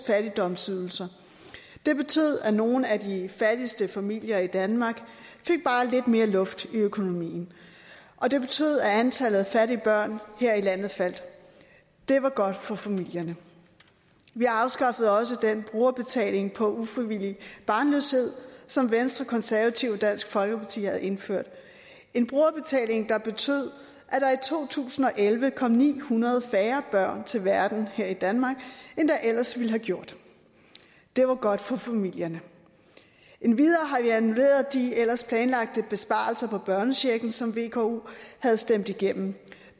fattigdomsydelser det betød at nogle af de fattigste familier i danmark fik bare lidt mere luft i økonomien og det betød at antallet af fattige børn her i landet faldt det var godt for familierne vi afskaffede også den brugerbetaling på ufrivillig barnløshed som venstre konservative og dansk folkeparti havde indført en brugerbetaling der betød at to tusind og elleve kom ni hundrede færre børn til verden her i danmark end der ellers ville have gjort det var godt for familierne endvidere har vi annulleret de ellers planlagte besparelser på børnechecken som vko havde stemt igennem